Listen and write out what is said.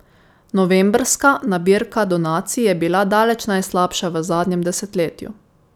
Novembrska nabirka donacij je bila daleč najslabša v zadnjem desetletju.